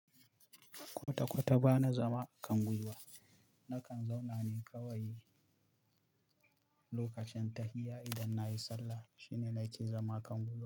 Kwata kwata bana zama a kan gwiwa, nakan zauna ne kawai lokacin tahiya idan na yi sallah shine na ke zama kan guiwa.